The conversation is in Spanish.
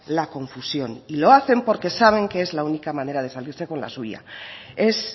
la confusión y lo hacen porque saben que es la única manera de salirse con la suya es